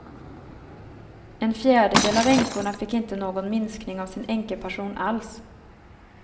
En fjärdedel av änkorna fick inte någon minskning av sin änkepension alls.